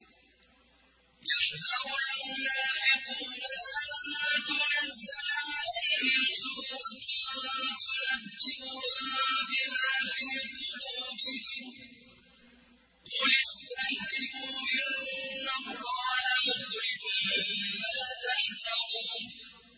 يَحْذَرُ الْمُنَافِقُونَ أَن تُنَزَّلَ عَلَيْهِمْ سُورَةٌ تُنَبِّئُهُم بِمَا فِي قُلُوبِهِمْ ۚ قُلِ اسْتَهْزِئُوا إِنَّ اللَّهَ مُخْرِجٌ مَّا تَحْذَرُونَ